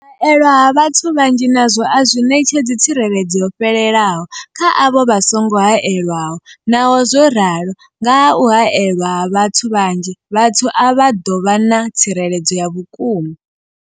haelwa ha vhathu vhanzhi nazwo a zwi ṋetshedzi tsireledzo yo fhelelaho kha avho vha songo haelwaho, Naho zwo ralo, nga kha u haelwa ha vhathu vhanzhi, vhathu avha vha ḓo vha na tsireledzo ya vhukuma.